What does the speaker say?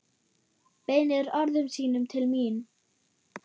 Beinir orðum sínum til mín.